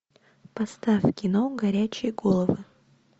поставь кино горячие головы